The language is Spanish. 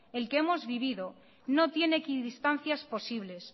el que hemos vivido no tiene equidistancias posibles